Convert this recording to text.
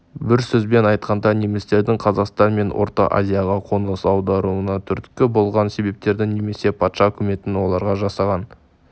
бір сөзбен айтқанда немістердің қазақстан мен орта азияға қоныс аударуына түрткі болған себептердің немесе патша үкіметінің оларға жасаған